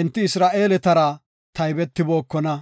enti Isra7eeletara taybetibookona.